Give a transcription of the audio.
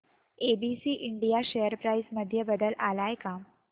ABC India share price मध्ये बदल आलाय का